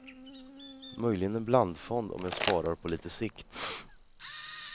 Möjligen en blandfond om jag sparar på lite sikt.